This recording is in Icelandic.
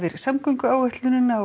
samgönguáætlunina og